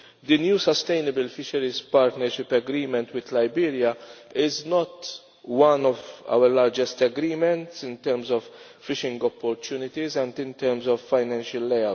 The new Sustainable Fisheries Partnership Agreement with Liberia is not one of our largest agreements in terms of fishing opportunities and in terms of financial layout.